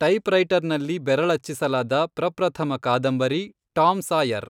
type ರೈಟರ್ನಲ್ಲಿ ಬೆರಳಚ್ಚಿಸಲಾದ, ಪ್ರಪ್ರಥಮ ಕಾದಂಬರಿ, ಟಾಮ್ ಸಾಯರ್